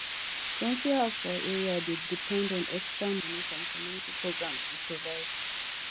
plenty house for area dey depend on extra money from community programs to survive